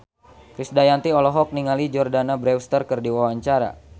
Krisdayanti olohok ningali Jordana Brewster keur diwawancara